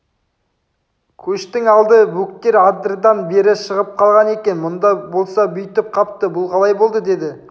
көштің алды бөктер адырдан бері шығып қалған екен мұнда болса бүйтіп қапты бұл қалай болды деді